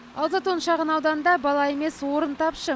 ал затон шағын ауданында бала емес орын тапшы